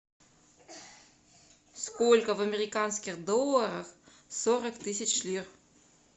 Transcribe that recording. сколько в американских долларах сорок тысяч лир